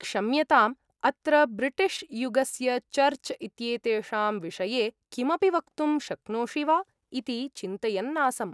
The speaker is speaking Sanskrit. क्षम्यताम्, अत्र ब्रिटिश् युगस्य चर्च् इत्येतेषां विषये किमपि वक्तुं शक्नोषि वा इति चिन्तयन् आसम्।